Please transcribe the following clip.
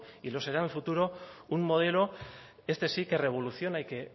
y lo será en el futuro un modelo este sí que revoluciona y que